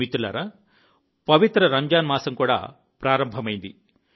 మిత్రులారా పవిత్ర రంజాన్ మాసం కూడా ప్రారంభమైంది